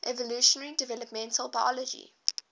evolutionary developmental biology